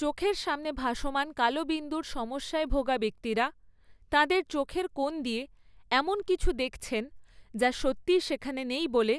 চোখের সামনে ভাসমান কালো বিন্দুর সমস্যায় ভোগা ব্যক্তিরা, তাঁদের চোখের কোণ দিয়ে এমন কিছু দেখছেন যা সত্যিই সেখানে নেই বলে,